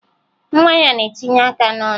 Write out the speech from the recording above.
Nwa ya na-etinye aka n'ọnụ